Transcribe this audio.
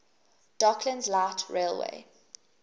docklands light railway